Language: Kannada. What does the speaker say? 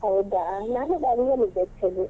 ಹೌದಾ? ನಾನು Bangalore ಲಿದ್ದೆ actually .